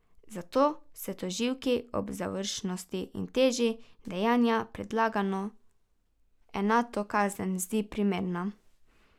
Zato se tožilki ob zavržnosti in teži dejanja predlagana enotna kazen zdi primerna.